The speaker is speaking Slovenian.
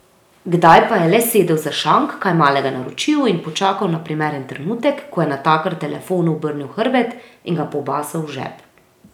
Kdaj pa je le sedel za šank, kaj malega naročil in počakal na primeren trenutek, ko je natakar telefonu obrnil hrbet, in ga pobasal v žep.